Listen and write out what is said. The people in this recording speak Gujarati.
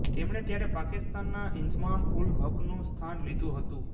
તેમણે ત્યારે પાકિસ્તાનના ઈન્ઝમામ ઉલ હકનું સ્થાન લીધું હતું